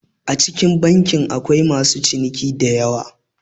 A cikin banki akwai masu ciniki diyawa